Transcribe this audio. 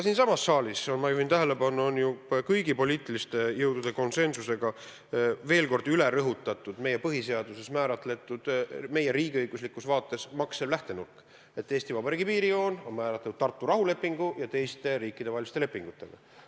Kõigepealt ma juhin tähelepanu, et siin saalis on ju kõigi konsensusega veel kord üle rõhutatud meie põhiseaduses määratletud ja meie riigiõiguslikus vaates maksev lähtenurk: Eesti Vabariigi piirijoon on määratud Tartu rahulepingu ja teiste riikidevaheliste lepingutega.